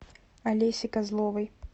олеси козловой